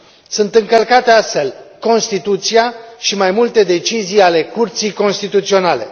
Sunt încălcate astfel Constituția și mai multe decizii și ale Curții Constituționale.